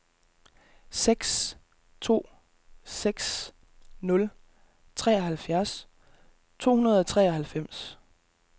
seks to seks nul treoghalvfjerds to hundrede og treoghalvfems